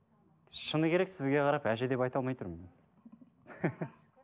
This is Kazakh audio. шыны керек сізге қарап әже деп айта алмай тұрмын